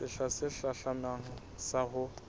sehla se hlahlamang sa ho